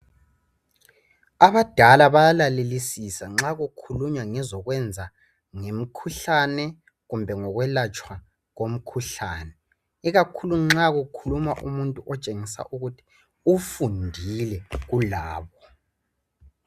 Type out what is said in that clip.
Abadala bayalalelisisa nxa kukhulunywa ngemikhuhlane kumbe ngokwelatshwa kwemikhuhlane ikakhulu nxa kukhuluma umuntu otshengisa ukuthi ufundile kulabo.